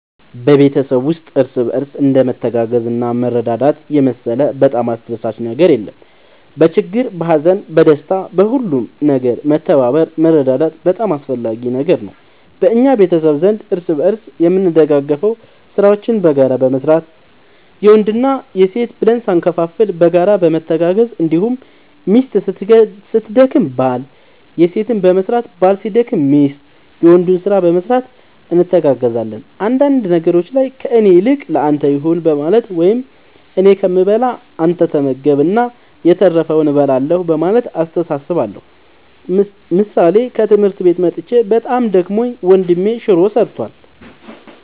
በቤተሰብ ውስጥ እርስ በርስ እንደ መተጋገዝና መረዳዳት የመሰለ በጣም አስደሳች ነገር የለም በችግር በሀዘን በደስታ በሁሉም ነገር መተባበር መረዳዳት በጣም አስፈላጊ ነገር ነው በእኛ ቤተሰብ ዘንድ እርስ በርስ የምንደጋገፈው ስራዎችን በጋራ በመስራት የወንድ የሴት ብለን ሳንከፋፈል በጋራ በመተጋገዝ እንዲሁም ሚስት ስትደክም ባል የሴትን በመስራት ባል ሲደክም ሚስት የወንዱን ስራ በመስራት እንተጋገዛለን አንዳንድ ነገሮች ላይ ከእኔ ይልቅ ለአንተ ይሁን በማለት ወይም እኔ ከምበላ አንተ ተመገብ እና የተረፈውን እበላለሁ በማለት እንተሳሰባለን ምሳሌ ከትምህርት መጥቼ በጣም ደክሞኝ ወንድሜ ሹሮ ሰርቷል።